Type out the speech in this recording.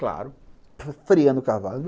Claro, freando o cavalo.